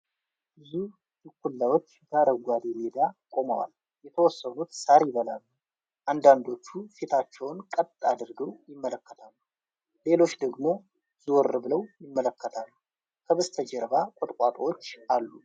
ብዙ ድኩላዎች በአረንጓዴ ሜዳ ቆመዋል የተወሰኑት ሣር ይበላሉ። አንዳንዶቹ ፊታቸውን ቀጥ አድርገው ይመለከታሉ። ሌሎች ደግሞ ዞር ብለው ይመለከታሉ ከበስተጀርባ ቁጥቋጦዎች አሉ።